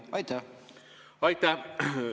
Aitäh!